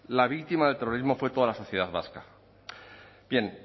la víctima del terrorismo fue toda la sociedad vasca bien